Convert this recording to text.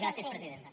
gràcies presidenta